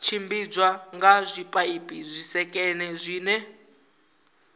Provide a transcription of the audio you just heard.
tshimbidzwa nga zwipaipi zwisekene zwine